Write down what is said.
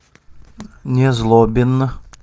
незлобин